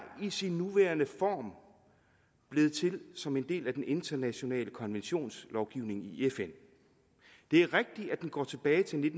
i sin nuværende form blevet til som en del af den internationale konventionslovgivning i fn det er rigtigt at den går tilbage til